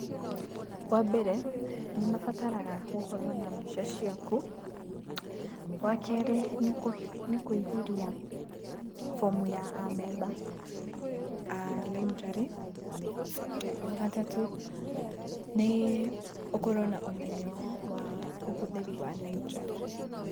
Wambere nĩmabataraga gũkorwo na mbica ciaku. Wakerĩ nĩkũihũria form ya amemba a library. Wagatatũ nĩ ũkorwo na ũmenyo wa ũhũthĩri wa library.